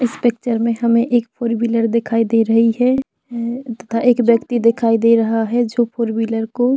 इस पिक्चर में हमें एक फोर व्हीलर दिखाई दे रही है तथा एक व्यक्ति दिखाई दे रहा है जो फोर वीलर को--